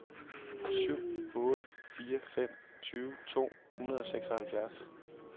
syv otte fire fem tyve to hundrede og seksoghalvfjerds